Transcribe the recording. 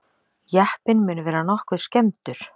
Jeppinn mun vera nokkuð skemmdur